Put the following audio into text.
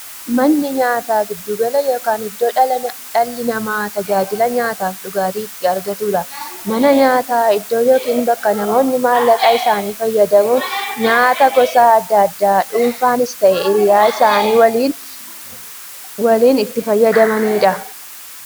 Manni nyaataa giddu gala yookiin iddoo dhalli namaa taajila nyaataafi dhugaatii itti argatuudha. Manni nyaataa iddoo yookiin bakka namoonni maallaqa isaanii fayyadamuun nyaataa gosa addaa addaa dhunfanis ta'ee hiriyyaa isaanii waliin itti fayyadamaniidha.